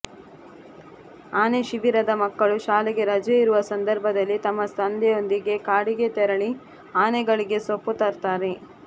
ಆನೆ ಶಿಬಿರದ ಮಕ್ಕಳು ಶಾಲೆಗೆ ರಜೆ ಇರುವ ಸಂದರ್ಭದಲ್ಲಿ ತಮ್ಮ ತಂದೆಯೊಂದಿಗೆ ಕಾಡಿಗೆ ತೆರಳಿ ಆನೆಗಳಿಗೆ ಸೊಪ್ಪು ತರುತ್ತಾರೆ